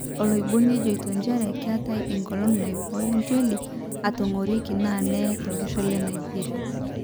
Oloiboni ojoito njere ketaa engolon naiboyo ntioli etangoroki na neye tolosho le Nigeria.